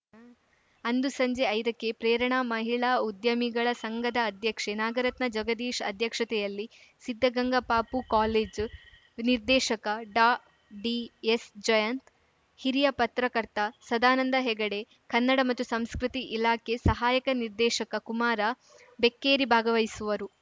ಅಂದು ಸಂಜೆ ಐದಕ್ಕೆ ಪ್ರೇರಣಾ ಮಹಿಳಾ ಉದ್ಯಮಿಗಳ ಸಂಘದ ಅಧ್ಯಕ್ಷೆ ನಾಗರತ್ನ ಜಗದೀಶ ಅಧ್ಯಕ್ಷತೆಯಲ್ಲಿ ಸಿದ್ಧಗಂಗಾ ಪಪೂ ಕಾಲೇಜು ನಿರ್ದೇಶಕ ಡಾಡಿಎಸ್‌ಜಯಂತ್‌ ಹಿರಿಯ ಪತ್ರಕರ್ತ ಸದಾನಂದ ಹೆಗಡೆ ಕನ್ನಡ ಮತ್ತು ಸಂಸ್ಕೃತಿ ಇಲಾಖೆ ಸಹಾಯಕ ನಿರ್ದೇಶಕ ಕುಮಾರ ಬೆಕ್ಕೇರಿ ಭಾಗವಹಿಸುವರು